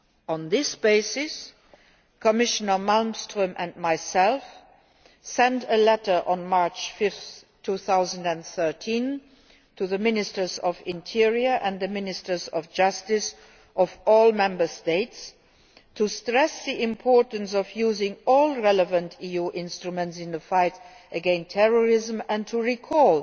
On this basis, Commissioner Malmström and myself sent a letter on 5 March 2013 to the Ministers of the Interior and the Ministers of Justice of all Member States to stress the importance of using all relevant EU instruments in the fight against terrorism and to recall